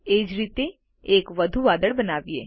એ જ રીતે એક વધુ વાદળ બનાવીએ